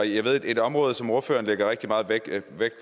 jeg ved at et område som ordføreren lægger rigtig meget vægt